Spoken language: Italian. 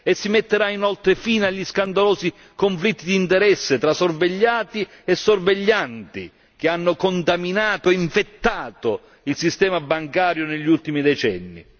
Si metterà inoltre fine agli scandalosi conflitti di interesse tra sorvegliati e sorveglianti, che hanno contaminato e infettato il sistema bancario negli ultimi decenni.